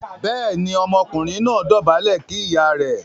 béèni Ọmọkùnrin náà dobale kí ìyá rẹ̀.